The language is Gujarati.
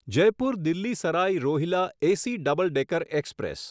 Jaipur Delhi Sarai Rohilla AC double decker express